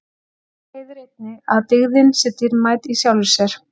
og af því leiðir einnig að dygðin sé dýrmæt í sjálfri sér